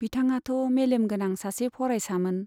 बिथांआथ' मेलेम गोनां सासे फरायसामोन !